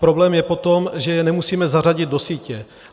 Problém je potom, že je nemusíme zařadit do sítě.